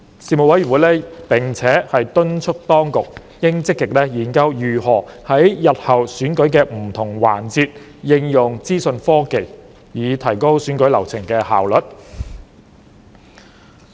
事務委員會並且敦促當局應積極研究如何在日後選舉的不同環節應用資訊科技，以提高選舉流程的效率。